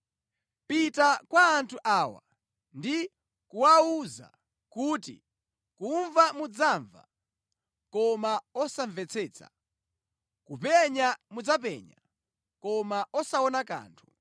“Pita kwa anthu awa ndi kuwawuza kuti, ‘Kumva mudzamva, koma osamvetsetsa; kupenya mudzapenya, koma osaona kanthu.’